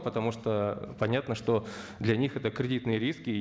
потому что понятно что для них это кредитные риски